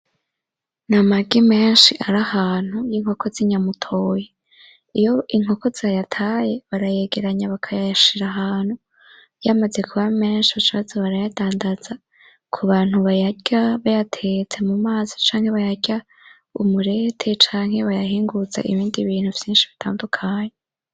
Ni amagi menshi ari ahantu, y'inkoko z'inyamutoyi. Iyo inkoko zayataye barayegeranya bakayashira ahantu. Yamaze kuba menshi baca baza barayadandaza kubantu bayarya bayatetse mu mazi canke bayarya umulete cank bayahinguza mu bindi bintu vyinshi bitandukanye.